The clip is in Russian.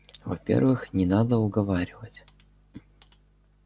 во-первых не надо уговаривать